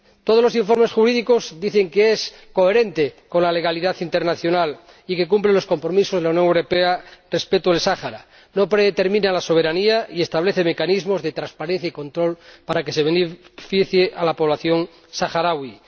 Todos los informes jurídicos dicen que el Protocolo es coherente con la legalidad internacional y que cumple los compromisos de la Unión Europea respecto del Sáhara, no predetermina la soberanía y establece mecanismos de transparencia y control para que se beneficie a la población saharaui.